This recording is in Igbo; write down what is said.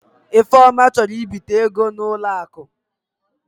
Ifeoma chọrọ ịbita ego n'ụlọ akụ.